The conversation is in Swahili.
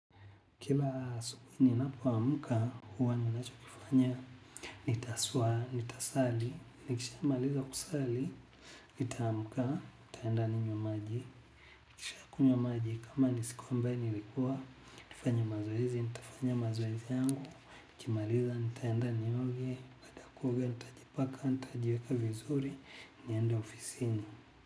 Kila asubuhi ninapo amka, huwa ninacho kifanya, nitaswa nitasali, nikisha maliza kusali, nitaamka, nitaenda ninywe maji. Nikishakunywa maji, kama nisik ambe nilikuwa, nifanya mazoezi, nitafanya mazoezi yangu, nikimaliza, nitaenda nioge, baada ya kuoga, nitajipaka, nitajieka vizuri, niende ofisini.